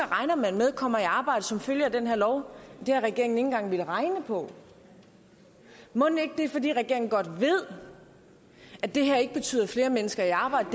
regner med kommer i arbejde som følge af den her lov det har regeringen ikke engang villet regne på og mon ikke det er fordi regeringen godt ved at det her ikke betyder flere mennesker i arbejde